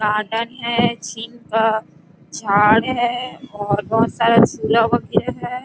Garden है छीन का छाड़ है और बहुत सारा छूला हुआ है।